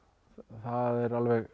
það er